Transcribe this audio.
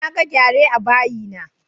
Naga gyare a bayi na